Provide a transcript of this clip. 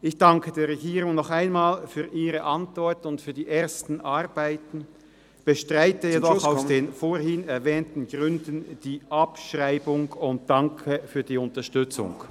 Ich danke der Regierung noch einmal für Ihre Antwort und die ersten Arbeiten, bestreite jedoch aus den vorhin ... erwähnten Gründen die Abschreibung und danke für die Unterstützung.